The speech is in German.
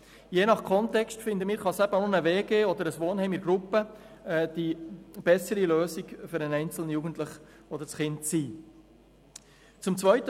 Je nach Kontext kann auch eine Wohngemeinschaft oder ein Wohnheim für den einzelnen Jugendlichen oder das Kind die bessere Lösung sein.